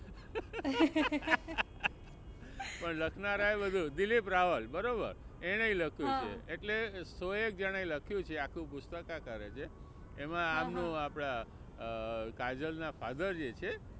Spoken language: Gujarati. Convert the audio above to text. પણ લખનારા એ બધું દિલીપ રાવલ બરાબર એણેય પણ લખ્યું છે એટલે સો એક જણાં એ લખ્યું છે આખું પુસ્તક એમાં આમનું આપણાં અ કાજલ ના father જે છે